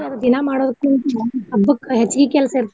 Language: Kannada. ದಿನಾ ಮಾಡೋದಕ್ಕಿಂತ ಹಬ್ಬಕ್ಕ ಹೆಚ್ಚಗಿ ಕೆಲ್ಸ ಇರ್ತೆತ್ರಿ.